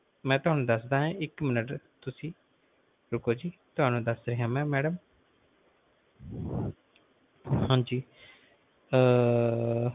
ਮਈ ਤੁਹਾਨੂੰ ਦਸਦਾ ਏ ਇੱਕ ਮਿੰਟ ਤੁਸੀਂ ਰੁਕੋ ਜੀ ਮੈਡਮ ਤੁਹਾਨੂੰ ਦਸਦਾ ਆ ਮਈ ਮੈਡਮ ਹਾਂਜੀ ਅਹ